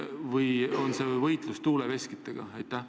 Või on see võitlus tuuleveskitega?